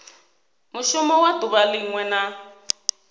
mushumo wa duvha linwe na